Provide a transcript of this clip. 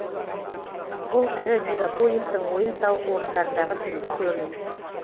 бұл ірі мегаполистің ойын сауық орындарындағы түнгі көрініс